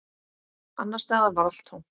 Annars staðar var allt tómt.